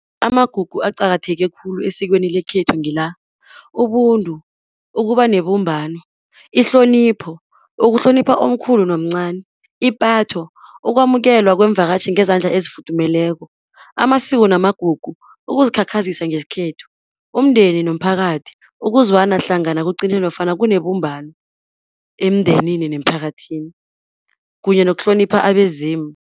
Amagugu aqakatheke khulu esikweni lekhethu ngila, ubuntu, ukuba nebumbano, ihlonipho, ukuhlonipha omkhulu nomncani, ipatho, ukwamukelwa kweemvakatjhi ngezandla ezifuthumeleko, amasiko namagugu, ukuzikhakhazisa ngesikhethu, umndeni nomphakathi, ukuzwana hlangana kugcine nofana kunebumbano emndenini nemphakathini, kunye nokuhlonipha abezimu.